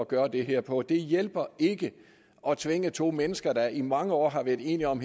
gøre det her på det hjælper ikke at tvinge to mennesker der i mange år har været enige om